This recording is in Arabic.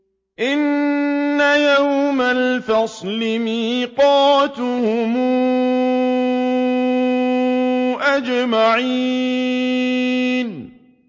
إِنَّ يَوْمَ الْفَصْلِ مِيقَاتُهُمْ أَجْمَعِينَ